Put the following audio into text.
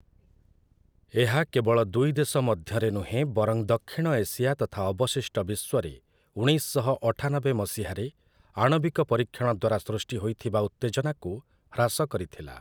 ଏହା କେବଳ ଦୁଇ ଦେଶ ମଧ୍ୟରେ ନୁହେଁ, ବରଂ ଦକ୍ଷିଣ ଏସିଆ ତଥା ଅବଶିଷ୍ଟ ବିଶ୍ୱରେ, ଉଣେଇଶ ଶହ ଅଠାନବେ ମସିହାରେ ଆଣବିକ ପରୀକ୍ଷଣ ଦ୍ୱାରା ସୃଷ୍ଟି ହୋଇଥିବା ଉତ୍ତେଜନାକୁ ହ୍ରାସ କରିଥିଲା ।